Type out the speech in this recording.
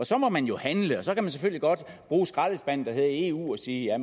så må man jo handle og så kan man selvfølgelig godt bruge skraldespanden der hedder eu og sige at